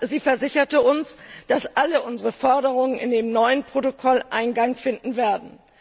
Sie versicherte uns, dass alle unsere Forderungen in das neue Protokoll Eingang finden werden.